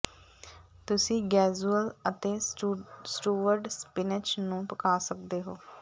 ਤੁਸੀਂ ਗੇਜੂਅਲ ਅਤੇ ਸਟੂਵਡ ਸਪਿਨਚ ਨੂੰ ਪਕਾ ਸਕਦੇ ਹੋ